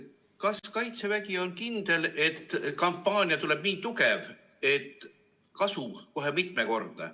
Kas Kaitsevägi on kindel, et kampaania tuleb nii tugev, et kasu on kohe mitmekordne?